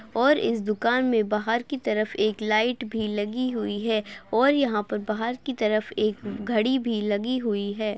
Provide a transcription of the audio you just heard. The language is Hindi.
और इस दुकान में बाहर की तरफ एक लाइट भी लगी हुई है और यहाँ पर बाहर की तरफ एक घड़ी भी लगी हुई है।